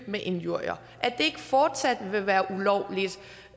med injurier at det ikke fortsat vil være ulovligt